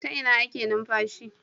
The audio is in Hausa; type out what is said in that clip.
Ta Ina ake numfashi